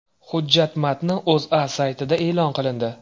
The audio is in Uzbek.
Hujjat matni O‘zA saytida e’lon qilindi .